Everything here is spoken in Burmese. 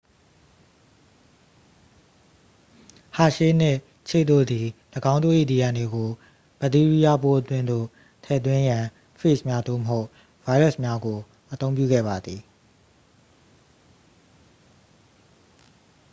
ဟာရှေး နှင့် ချေ့ တို့သည် ၎င်းတို့၏ dna ကို ဗက်တီးရီးယားပိုးအတွင်းသို့ ထည့်သွင်းရန် ဖေ့ဂျ်များ သို့မဟုတ် ဗိုင်းရပ်စ်များကို အသုံးပြုခဲ့ပါသည်